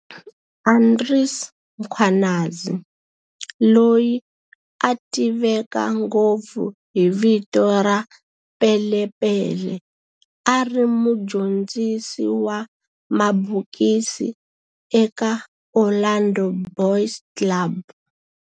Andries Mkhwanazi, loyi a tiveka ngopfu hi vito ra"Pele Pele", a ri mudyondzisi wa mabokisi eka Orlando Boys Club